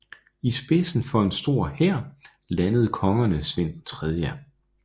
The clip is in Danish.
I spidsen for en stor hær landede kongerne Svend 3